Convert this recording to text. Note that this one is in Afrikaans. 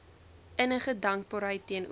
innige dankbaarheid teenoor